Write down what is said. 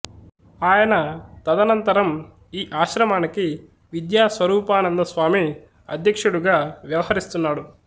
ఆయన తదనంతరం ఈ ఆశ్రమానికి విద్యా స్వరూపానంద స్వామి అధ్యక్షుడుగా వ్యవహరిస్తున్నాడు